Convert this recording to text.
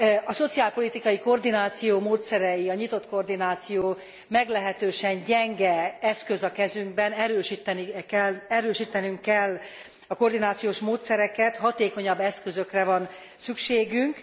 A szociálpolitikai koordináció módszerei, a nyitott koordináció, meglehetősen gyenge eszköz a kezünkben, erősítenünk kell a koordinációs módszereket, hatékonyabb eszközökre van szükségünk.